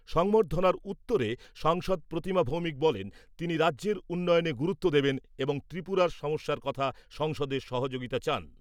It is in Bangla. সংবর্ধনার উত্তরে সাংসদ প্রতিমা ভৌমিক বলেন, তিনি রাজ্যের উন্নয়নে গুরুত্ব দেবেন এবং ত্রিপুরার সমস্যার কথায় সংসদে সহযোগিতা চান।